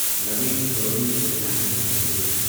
Naveen fluorine international limited